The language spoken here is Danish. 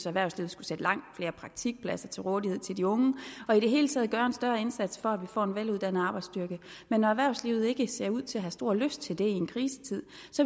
erhvervslivet skulle sætte langt flere praktikpladser til rådighed til de unge og i det hele taget gøre en større indsats for at vi får en veluddannet arbejdsstyrke men når erhvervslivet ikke ser ud til at have stor lyst til det i en krisetid